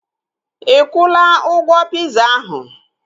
Ikwula ụgwọ piza ahu?